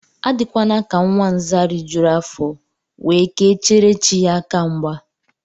Adịkwana ka nwa Nza rijuru afọ, we ke chere chi ya aka mgba